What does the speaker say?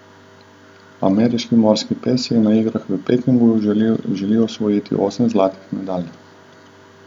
Ameriški morski pes si na igrah v Pekingu želi osvojiti osem zlatih medalj.